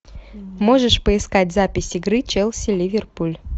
можешь поискать запись игры челси ливерпуль